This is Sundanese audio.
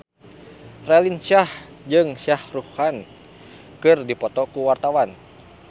Raline Shah jeung Shah Rukh Khan keur dipoto ku wartawan